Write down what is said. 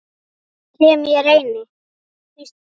Sem ég reyni.